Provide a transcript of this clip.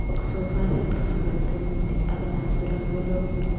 ఒక sofa set కనబడుతూ ఉంది అది నలుపు రంగులో ఉంది.